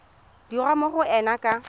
dirwa mo go ena ka